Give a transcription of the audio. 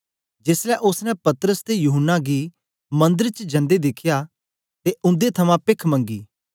जेसलै ओसने पतरस ते यूहन्ना गी मंदर च जंदे दिखया ते उंदे थमां पेख मंगी